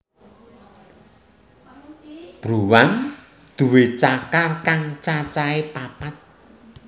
Bruwang nduwé cakar kang cacahé papat